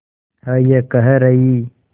है ये कह रही